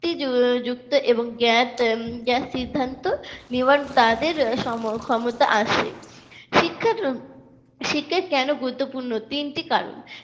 যুক্তিযুক্ত এবং সিদ্ধান্ত নেওয়ার তাদের ক্ষমতা আসে শিক্ষা শিক্ষা কেন গুরুত্বপূর্ণ তিনটি কারণ